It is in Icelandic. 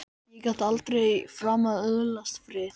Ég get aldrei framar öðlast frið!